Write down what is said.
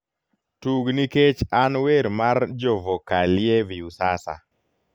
tug nikech an wer mar jovokalie viusasa